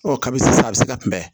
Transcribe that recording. Ɔ kabi sisan a bɛ se ka kunbɛn